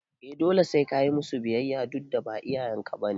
eh dole sai kayi musu biyayya dudda ba iyayen ka bane